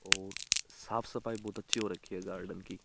और साफ सफाई बहोत अच्छी हो रखी है गार्डन की।